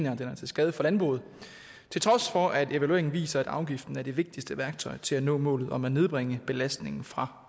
at den er til skade for landbruget til trods for at evalueringen viser at afgiften er det vigtigste værktøj til at nå målet om at nedbringe belastningen fra